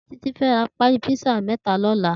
Titi fè rà pàlí pizza mètá lòlá